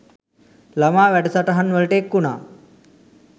ළමා වැඩ සටහන්වලට එක්වුණා.